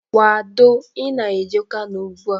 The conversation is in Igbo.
Kwado, Ị na-eje Kano ụgbụa!